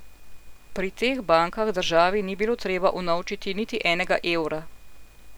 Pri teh bankah državi ni bilo treba unovčiti niti enega evra.